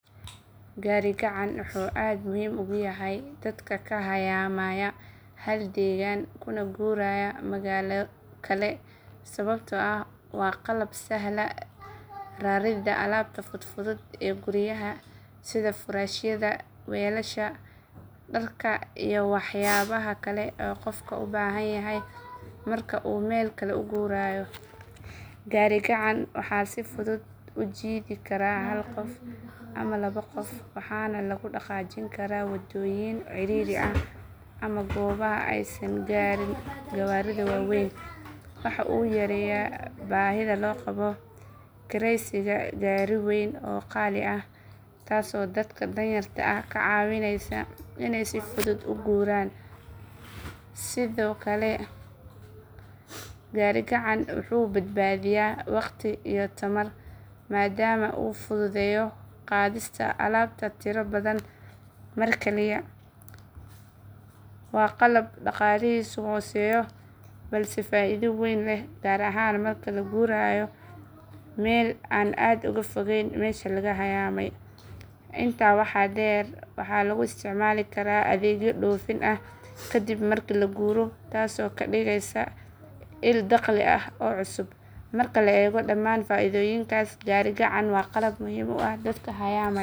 Gaari gacan wuxuu aad muhiim ugu yahay dadka ka hayaamaya hal deegaan kuna guuraya magaalo kale sababtoo ah waa qalab sahla raridda alaabta fudfudud ee guryaha sida furaashyada, weelasha, dharka iyo waxyaabaha kale ee qofka u baahan yahay marka uu meel kale u guurayo. Gaari gacan waxaa si fudud u jiidi kara hal qof ama laba qof waxaana lagu dhaqaajin karaa waddooyin cidhiidhi ah ama goobaha aysan gaarin gawaarida waaweyn. Waxa uu yareeyaa baahida loo qabo kiraysiga gaari weyn oo qaali ah taasoo dadka danyarta ah ka caawinaysa inay si fudud u guuraan. Sidoo kale gaari gacan wuxuu badbaadiyaa waqti iyo tamar maadaama uu fududeeyo qaadista alaabta tiro badan mar keliya. Waa qalab dhaqaalihiisu hooseeyo balse faaido weyn leh gaar ahaan marka la guurayo meel aan aad uga fogayn meesha laga hayaamay. Intaa waxaa dheer waxaa lagu isticmaali karaa adeegyo dhoofin ah kadib marka la guuro taasoo ka dhigaysa il dakhli oo cusub. Marka la eego dhammaan faaidooyinkaas gaari gacan waa qalab muhiim u ah dadka hayaamaya.